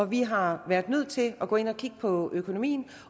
vi har været nødt til at gå ind og kigge på økonomien